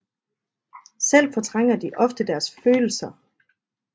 Selv fortrænger de ofte deres følelser